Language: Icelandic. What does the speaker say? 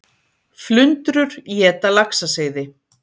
Flundrur éta laxaseiði